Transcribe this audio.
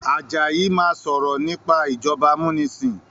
Àjàyí má sọrọ nipa ìjọba amunisin